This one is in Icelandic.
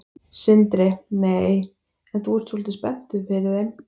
Sindri: Nei, en þú ert svolítið spenntur fyrir þeim?